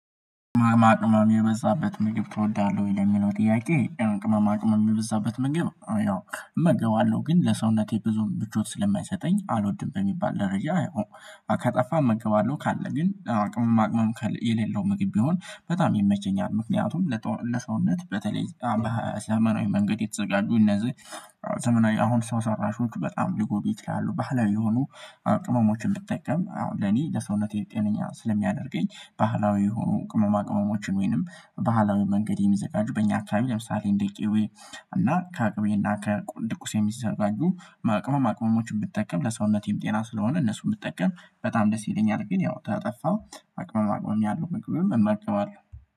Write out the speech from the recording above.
ቅመማ ቅመም የበዛበት ምግብ ትወዳለህ? ወይ ለሚለው ጥያቄ ቅመማ ቅመም የበዛበት ምግብ አ ያው እመገባለሁ ግን ለሰውነቴ ብዙ ምቾት ስለማይሰጠኝ አልወድም። በሚባል ደረጃ አ የው ከጠፋ እመገባለሁ ካለ ግን ቅመማ ቅመም የሌለው ምግብ ቢሆን በጣም ይመቸኛል። ምክንያቱም ለሰውነት በተለይ በዘመናዊ መንገድ የተዘጋጁ እነዚህ ከጣፋ እመገባለሁ ካለ ግን ቅመማ ቅመም የሌለው ምግብ ቢሆን በጣም ይመቸኛል። ምክንያቱም ለሰውነት በተለይ በዘመናዊ መንገድ የተዘጋጁ እነዚህ ቅመሞችን ብጠቀም አሁን ለኔ ለሰውነቴ ጤነኛ ስለሚያደርገኝ። ባህላዊ የሆኑ ቅመማ ቅመሞችን ወይንም ባህላዊ መንገድ የሚዘጋጁ በእኛ አከባቢ ለምሳሌ እንደ ቅቤ እና ከቅቤ እና ከድቁስ የሚሰራ አሉ። ቅመም ቅመሞችን ብጠቀም ለሰውነቴም ጤና ስለሆነ እነሱን ብጠቀም በጣም ደስ ይለኛል። ግን ያው ተጠፋም ቅመማ ቅመም ያለው ምግብም እመገባለው